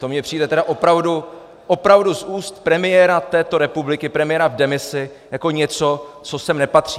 To mně přijde tedy opravdu, opravdu z úst premiéra této republiky, premiéra v demisi, jako něco, co sem nepatří.